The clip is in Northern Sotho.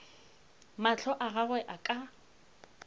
mahlo a gagwe a ka